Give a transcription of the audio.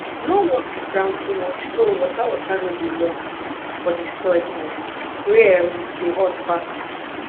no work di ground too much so water water no go loss for di soil um wey um dey hot fast